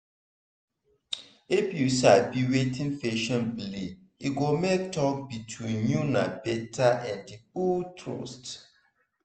if you sabi wetin patient believe e go make talk between una better and build trust.